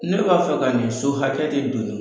Ne b'a fɛ ka nin so hakɛ de donni